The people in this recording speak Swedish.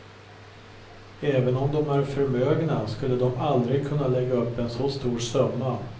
Även om de är förmögna skulle de aldrig kunna lägga upp en så stor summa.